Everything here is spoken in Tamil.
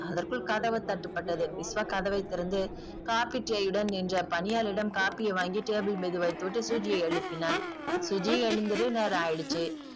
அதற்குள் கதவு தட்டப்பட்டது விஷ்வா கதவை திறந்து காப்பி டீயோட நின்ற பணியாளரிடம் காப்பியை வாங்கி table மீது வைத்துவிட்டு சுஜியை எழுப்பினான் சுஜி எழுந்திரி நேரம் ஆய்டுச்சு